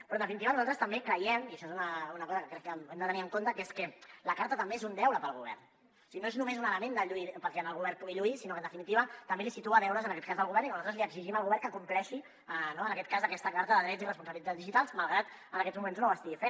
però en definitiva nosaltres també creiem i això és una cosa que crec que hem de tenir en compte que és que la carta també és un deure per al govern o sigui no és només un element perquè el govern pugui lluir sinó que en definitiva també li posa deures al govern i nosaltres li exigim al govern que compleixi no aquesta carta de drets i responsabilitats digitals malgrat en aquests moments no ho estigui fent